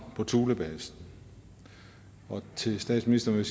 på thulebasen og til statsministeren vil